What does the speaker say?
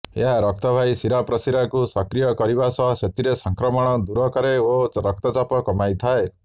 ଏହା ରକ୍ତବାହୀ ଶିରାପ୍ରଶିରାକୁ ସକ୍ରିୟ କରିବା ସହ ସେଥିରେ ସଂକ୍ରମଣକୁ ଦୂର କରେ ଓ ରକ୍ତଚାପ କମାଇଥାଏ